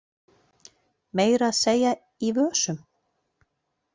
Meira að segja í vösum.